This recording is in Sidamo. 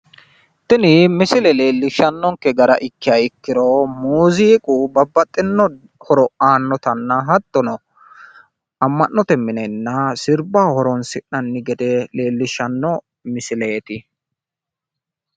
Tini misile leellishannonkke gara ikkiha ikkiro muuziiqu babbaxino horo aannotanna hattono ama'note minenna sirbbaho horonsi'nanni gede leellishshanno misileeti.